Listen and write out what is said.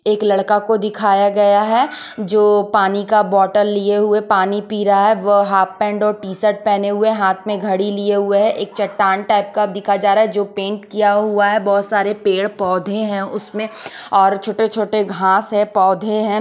एक लड़का को दिखाया गया है जो पानी का बॉटल लिए हुए पानी पी रहा है वह हॉफ पैंट और टी शर्ट पेहने हुए है हाथ मे घड़ी लिए हुए है एक चट्टान टाइप कप दिखा जा रहा है जो पेंट किया हुआ है बहोत सारे पेड़ पौधे है उसमें और छोटे-छोटे घास है पौधे है।